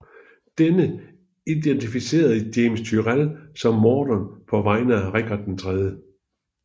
Denne identificerede James Tyrrell som morderen på vegne af Richard 3